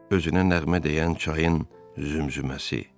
Özünə nəğmə deyən çayın zümzüməsi.